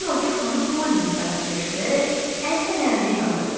Timoti xanım Polini sakitləşdirərək əl fənərini yandırdı.